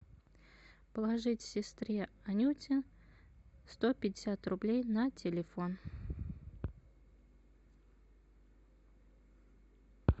положить сестре анюте сто пятьдесят рублей на телефон